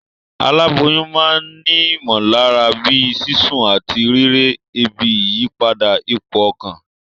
Aláboyún ma n ni ìmòlára bíi sísún àtí rírè, ebi, ìyípadà ipò okàn